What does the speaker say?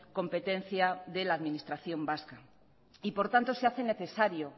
competencia de la administración vasca y por tanto se hace necesario